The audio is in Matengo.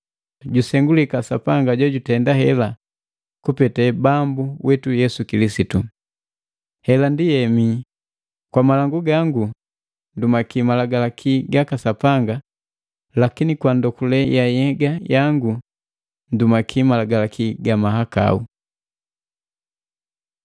Jusengulikaa Sapanga jojutenda hela kupete Bambu witu Yesu Kilisitu! Hela ndi hemi, kwa malangu gangu ndumaki Malagalaki gaka Sapanga lakini kwa ndokule yangu ya nhyega jangu ndumaki malagalaki ga mahakau.